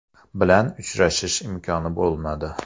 bilan uchrashish imkoni bo‘lmadi.